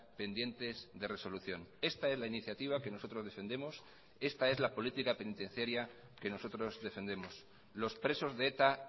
pendientes de resolución esta es la iniciativa que nosotros defendemos esta es la política penitenciaria que nosotros defendemos los presos de eta